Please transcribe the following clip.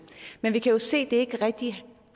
men vi kan jo se det ikke rigtig